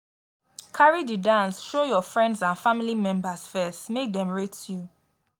carry di dance show your friends and family members first make dem rate you